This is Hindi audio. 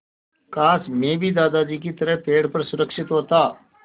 काश मैं भी दादाजी की तरह पेड़ पर सुरक्षित होता